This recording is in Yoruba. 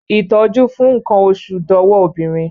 Ìtọ́jú fún nkan oṣù dọwọ́ obìnrin